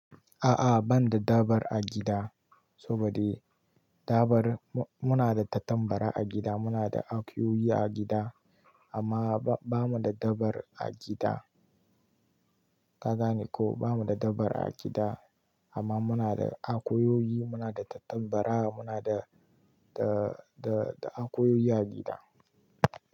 A'a ban da dabar a gida saboda dabar muna da tattambara a gida muna da akuyoyi a gida amma ba mu da dabar a gida. Ka gane ko ba mu da dabar a gida amma muna da akuyoyi muna da tattambara muna da, da, da akuyoyi a gida.